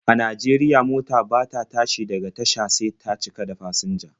A Najeriya, mota bata tashi daga tasha sai ta cika da fasinja.